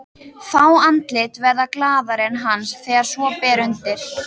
Fá andlit verða glaðari en hans þegar svo ber undir.